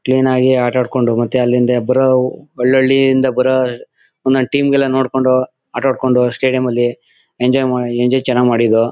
Clean ಆಗಿ ಆಟಾಡ್ಕೊಂಡು ಮತ್ತೆ ಅಲ್ಲಿಂದ ಬರೋ ಹಳ್ಹಳ್ಳಿ ಇಂದ ಬರೋ ಒಂದೊಂದ್ ಟೀಮ್ ಗೆಲ್ಲ ನೋಡ್ಕೊಂಡು ಆಟಾಡ್ಕೊಂಡು ಸ್ಟೇಡಿಯಂ ಅಲ್ಲಿ ಎಂಜಾಯ್ ಮಾ ಎಂಜಾಯ್ ಚನಾಗ್ ಮಾಡಿದ್ದೋ.